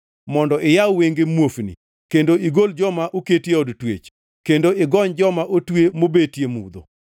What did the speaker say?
mondo iyaw wenge muofni, kendo igol joma oketi e od twech, kendo igony joma otwe mobetie mudho.